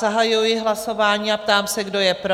Zahajuji hlasování a ptám se, kdo je pro?